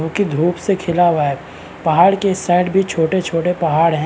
जो की धूप से खिला हुआ है पहाड़ के इस साइड भी छोटे-छोटे पहाड़ हैं।